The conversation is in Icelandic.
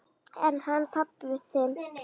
En hann pabbi þinn?